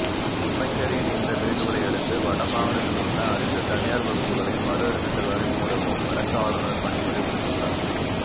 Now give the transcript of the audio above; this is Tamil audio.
அமைச்சரின் இந்த வேண்டுகோளையடுத்து வடமாகாணத்திலுள்ள அனைத்து தனியார் வகுப்புக்களையும் மறுஅறிவித்தல் வரை மூடவும் வடக்கு ஆளுநர் பணிப்புரை விடுத்துள்ளார்